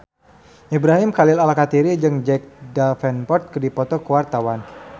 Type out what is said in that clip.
Ibrahim Khalil Alkatiri jeung Jack Davenport keur dipoto ku wartawan